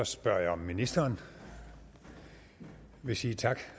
spørger jeg om ministeren vil sige tak